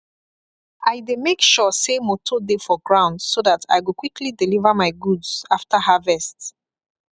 i dey make sure say motor dey for ground so that i go quickly deliver my goods after harvest